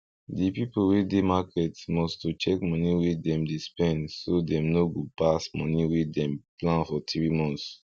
di pipu wey dey market must to check money wey dem dey spend so dem no go pass money wey dem plan for 3 months